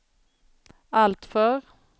alltför